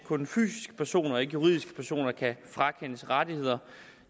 kun fysiske personer og ikke juridiske personer kan frakendes rettigheder